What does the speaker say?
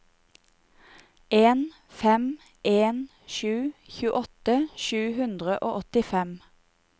en fem en sju tjueåtte sju hundre og åttifem